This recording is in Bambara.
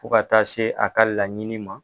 Fo ka taa se a ka laɲini ma.